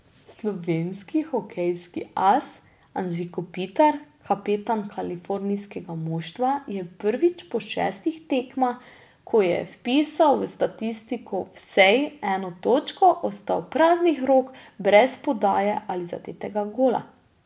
Slovenski hokejski as Anže Kopitar, kapetan kalifornijskega moštva, je prvič po šestih tekmah, ko je vpisal v statistiko vsej eno točko, ostal praznih rok brez podaje ali zadetega gola.